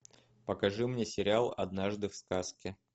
покажи мне сериал однажды в сказке